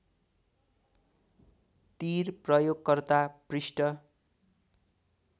तिर प्रयोगकर्ता पृष्ठ